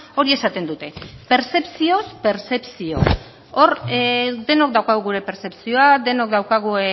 hori esaten dute pertzepzioz pertzepzio hor denok daukagu gure pertzepzioa denok daukagu